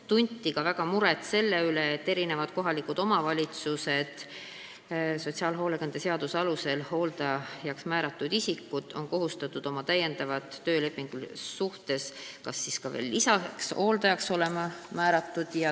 Tunti ka suurt muret selle pärast, et sotsiaalhoolekande seaduse alusel hooldajaks määratud isikud on kohustatud olema täiendavalt töölepingulises suhtes lisaks hooldajaks määramisele.